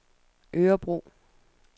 Örebro